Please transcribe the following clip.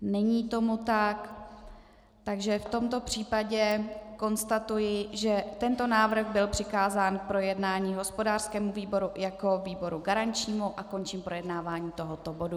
Není tomu tak, takže v tomto případě konstatuji, že tento návrh byl přikázán k projednání hospodářskému výboru jako výboru garančnímu, a končím projednávání tohoto bodu.